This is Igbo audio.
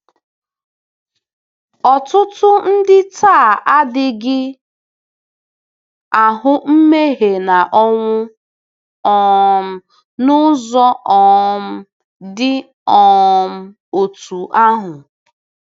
Ọtụtụ ndị taa adịghị ahụ mmehie na ọnwụ um n'ụzọ um dị um otú ahụ.